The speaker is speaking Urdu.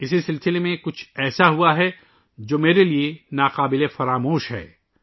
اس سیریز میں کچھ ایسا ہوا ، جو میرے لئے ناقابل فراموش ہے